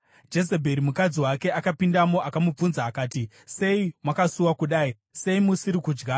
Jezebheri, mukadzi wake, akapindamo akamubvunza akati, “Sei makasuwa kudai? Sei musiri kudya?”